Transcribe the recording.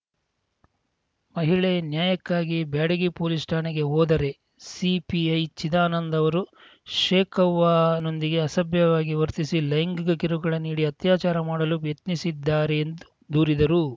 ಮಹಿಳೆ ನ್ಯಾಯಕ್ಕಾಗಿ ಬ್ಯಾಡಗಿ ಪೋಲೀಸ್‌ ಠಾಣೆಗೆ ಹೋದರೆ ಸಿಪಿಐ ಚಿದಾನಂದ ಅವರು ಶೇಖವ್ವ ನೊಂದಿಗೆ ಅಸಭ್ಯ ವಾಗಿ ವರ್ತಿಸಿ ಲೈಂಗಿಕ ಕಿರುಕುಳ ನೀಡಿ ಅತ್ಯಾಚಾರ ಮಾಡಲು ಯತ್ನಿಸಿದ್ದಾರೆ ಎಂದು ದೂರಿದರು